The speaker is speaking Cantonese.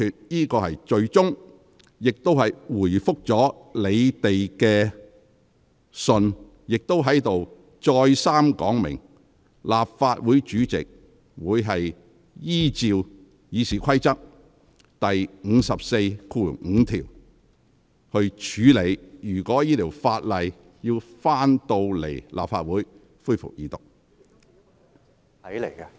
我已作出最終裁決，亦回覆了你們的來信，並在此再三說明，立法會主席會按照《議事規則》第545條處理有關《條例草案》在立法會恢復二讀辯論的要求。